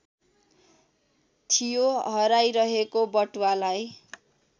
थियो हराइरहेको बटुवालाई